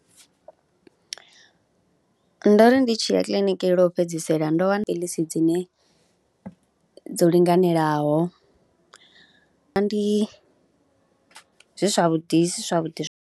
Ndo ri ndi tshi ya kiḽiniki lwo fhedzisela ndo wana phiiḽisi dzine dzo linganelaho, ndi, zwi zwavhuḓi zwi zwavhuḓi.